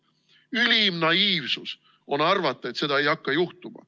Ülim naiivsus on arvata, et seda ei hakka juhtuma.